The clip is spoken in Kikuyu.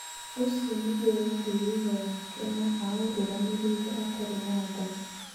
ũcio nĩguo warĩ wĩra wake na aũrũgamĩrĩire atarĩ na tha.